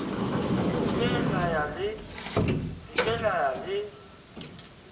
se ke la ya le